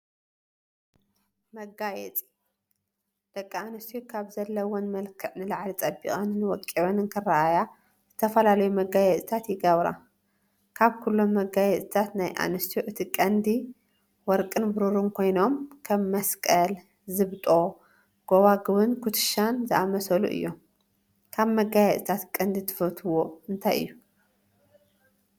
መጋየፂ፡- ደቂ ኣንስትዮ ካብቲ ዘለዎን መልክዕ ንላዕሊ ፀቢቐንን ወቂበንን ክረአያ ዝተፈላለዩ መጋየፂታት ይገብራ፡፡ ካብኩሎም መጋየፅታት ናይ ኣንስትዮ እቲ ቀንዲ ወርቅን ብሩን ኮይኖም ከም መስቀል፣ ዝብጦ ጎባጉብን ኩትሻን ዝኣመሰሉ እዮም፡፡ ካብ መጋፂታት ቀንዲ ትፈትዎኦ እንታይ እዩ?